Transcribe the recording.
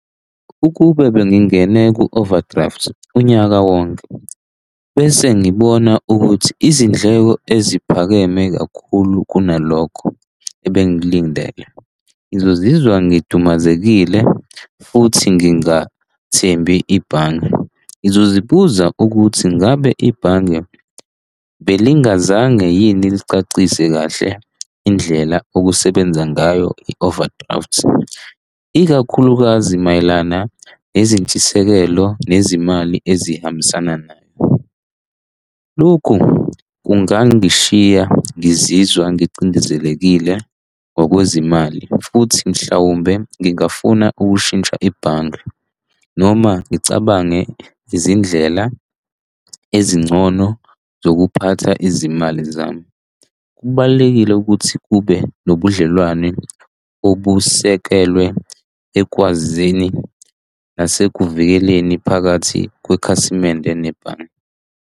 Ukube bengingene ku-overdraft unyaka wonke, bese ngibona ukuthi izindleko eziphakeme kakhulu kunalokho ebengiklindele. Ngizizwa ngidumazekile futhi ngingathembi ibhange. Ngizozibuza ukuthi ngabe ibhange belingazange yini licacise kahle indlela okusebenza ngayo i-overdraft, ikakhulukazi mayelana nezintshisekelo nezimali ezihambisana nayo. Lokhu kungangishiya ngizizwa ngicindezelekile ngokwezimali futhi mhlawumbe ngingafuna ukushintsha ebhange noma ngicabange izindlela ezingcono zokuphatha izimali zami. Kubalulekile ukuthi kube nobudlelwane obusekelwe ekwazini nasekuvikelekeni phakathi kwekhasimende nebhange.